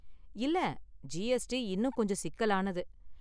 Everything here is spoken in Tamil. இல்ல ஜிஎஸ்டி இன்னும் கொஞ்சம் சிக்கலானது.